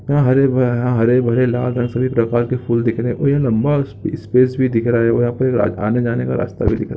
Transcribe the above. यहाँ हरे भरे हरे भरे लाल रंग के सभी प्रकार के फूल दिख रहे हैं और लंबा स्पेस भी दिख रहा हैऔर यहाँ पे आने जाने का रास्ता भी दिख रहा हैं ।